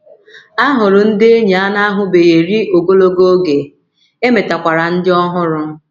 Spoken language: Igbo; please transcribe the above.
A hụrụ ndị enyi a na - ahụbeghị eri ogologo oge, e metakwara ndị ọhụrụ.